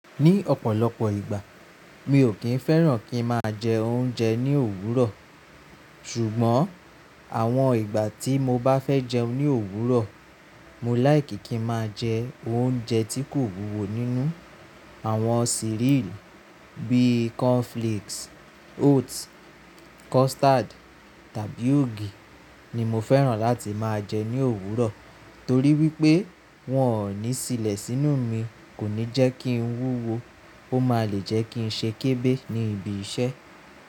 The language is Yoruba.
Ní ọ̀pọ̀lọpọ̀ ìgbà mi ò kí ń fẹ́ràn kí ń máa jẹ oúnjẹ ní òwúrọ̀, ṣùgbọ́n àwọn ìgbà tí mo bá fẹ́ jẹun ní òwúrọ̀, mo láì kí kí ń máa jẹ oúnjẹ tí kò wúwo nínú àwọn cereal bíi cornflakes, oats, custard tàbí ògì ni mo fẹ́ràn láti máa jẹ ní òwúrọ̀. Torí wípé wọn ò ní sílẹ̀ sínú mi kò ní jẹ́ kí ń wúwo, ó máa le jẹ́ kí ń ṣe kébé ní ibi iṣẹ́.